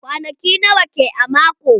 Kwanaki nawa ke a mako?